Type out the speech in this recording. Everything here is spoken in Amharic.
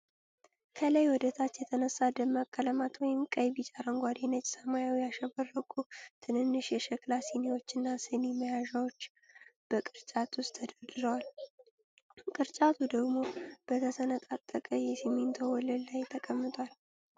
ከላይ ወደ ታች የተነሳ ደማቅ ቀለማት (ቀይ፣ ቢጫ፣ አረንጓዴ፣ ነጭ፣ ሰማያዊ) ያሸበረቁ ትንንሽ የሸክላ ሲኒዎችና ስኒ መያዣዎች በቅርጫት ውስጥ ተደርድረዋል። ቅርጫቱ ደግሞ በተሰነጣጠቀ የሲሚንቶ ወለል ላይ ተቀምጧል።